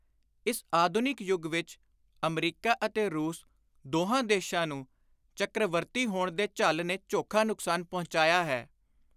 ਇਸ ਆਧੁਨਿਕ ਯੁਗ ਵਿਚ ਅਮਰੀਕਾ ਅਤੇ ਰੂਸ ਦੋਹਾਂ ਦੇਸ਼ਾਂ ਨੂੰ ਚੱਕ੍ਰਵਰਤੀ ਹੋਣ ਦੇ ਝੱਲ ਨੇ ਚੋਖਾ ਨੁਕਸਾਨ ਪੁਚਾਇਆ ਹੈ।